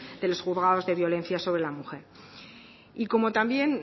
de los juzgados de violencia sobre la mujer y como también